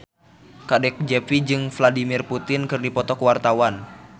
Kadek Devi jeung Vladimir Putin keur dipoto ku wartawan